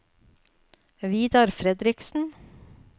Vidar Fredriksen